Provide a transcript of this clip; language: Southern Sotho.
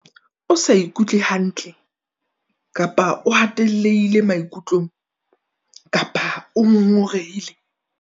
O sa ikutlwe hantle kapa o hatellehile maikutlong kapa o ngongorehile?